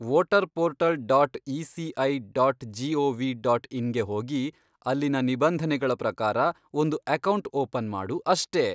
Voter portal dot ECI dot gov dot ಇನ್ಗೆ ಹೋಗಿ ಅಲ್ಲಿನ ನಿಬಂಧನೆಗಳ ಪ್ರಕಾರ ಒಂದು ಅಕೌಂಟ್ ಓಪನ್ ಮಾಡು ಅಷ್ಟೇ.